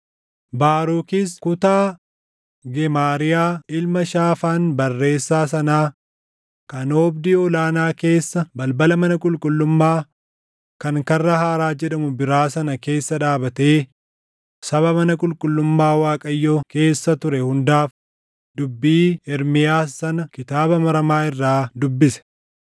Baarukis kutaa Gemaariyaa ilma Shaafaan barreessaa sanaa kan oobdii ol aanaa keessa balbala mana qulqullummaa, kan Karra Haaraa jedhamu biraa sana keessa dhaabatee saba mana qulqullummaa Waaqayyoo keessa ture hundaaf dubbii Ermiyaas sana kitaaba maramaa irraa dubbise.